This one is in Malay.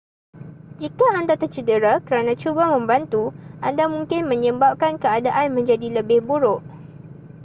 jika anda tercedera kerana cuba membantu anda mungkin menyebabkan keadaan menjadi lebih buruk